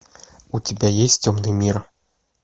у тебя есть темный мир